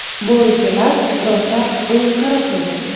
Bo‘richalar rosa o‘yinqaroq edi.